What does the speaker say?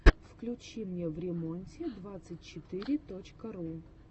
включи мне времонте двадцать четыре точка ру